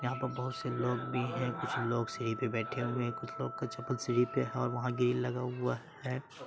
जहाँ पे बहुत से लोग भी हैं कुछ लोग सीढ़ी पे बैठे हुए हैं कुछ लोग के चप्पल सीढ़ी पे हैं और वहां ग्रिल लगा हुआ हैं।